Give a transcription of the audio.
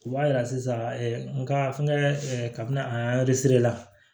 U b'a yira sisan nga n kɛ ɛ kabini a la